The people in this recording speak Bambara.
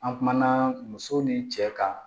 An kumana muso ni cɛ kan